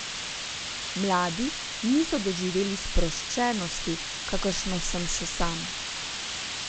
Mladi niso doživeli sproščenosti, kakršno sem še sam.